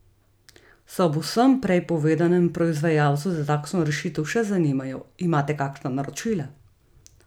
Se ob vsem prej povedanem proizvajalci za takšno rešitev še zanimajo, imate kakšna naročila?